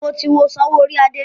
Mo ti wo Ṣaworoide.